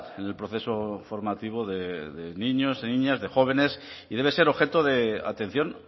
en el proceso formativo de niños y niñas de jóvenes y debe ser objeto de atención